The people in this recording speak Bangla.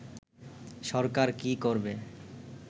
সরকার কী করবে